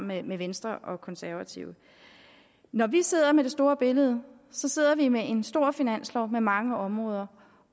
med med venstre og konservative når vi sidder med det store billede så sidder vi med en stor finanslov med mange områder